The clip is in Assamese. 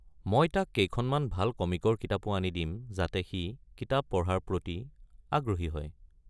মই তাক কেইখনমান ভাল কমিকৰ কিতাপো আনি দিম যাতে সি কিতাপ পঢ়াৰ প্ৰতি আগ্ৰহী হয়।